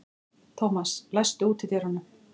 Thomas, læstu útidyrunum.